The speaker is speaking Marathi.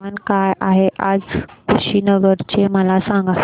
तापमान काय आहे आज कुशीनगर चे मला सांगा